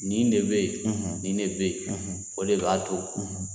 Nin ne bɛ yen, nin ne bɛ yen, o de b'a to,